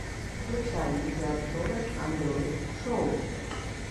включай видеообзоры андроит шоу